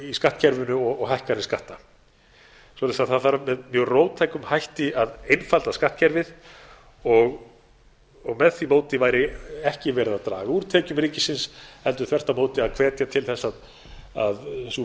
í skattkerfinu og hækkanir skatta svo það þarf með mjög róttækum hætti að einfalda skattkerfið með því móti væri ekki verið að draga úr tekjum ríkisins heldur þvert á móti að hvetja til þess að sú